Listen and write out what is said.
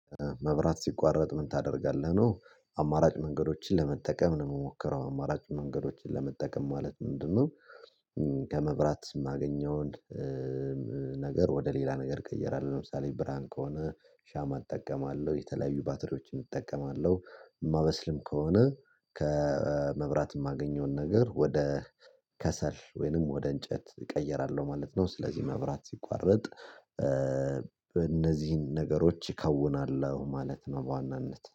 መብራት ሲቋረጥ ምን ታደርጋለህ ነው አማራጭ መንገዶችን ለመጠቀም ነው የምሞከረው አማራጭ መንገዶችን ለመጠቀም ማለት ምንድነው? ከመብራት የማገኘውን ነገር ወደ ሌላ ነገር እቀይራለሁ ለምሳሌ ብርሃን ከሆነ ሻማ እጠቀማለሁ የተለያዩ ባትሪዎችን እጠቀማለሁ የማበስልም ከሆነ ከመብራት የማገኘውን ነገር ወደ ከሰል ወይንም ወደ እንጨት እቀይራለሁ ማለት ነው። ስለዚህ መብራት ሲቋረጥ በእነዚህን ነገሮች እከውናለሁ ማለት ነው። በዋናነት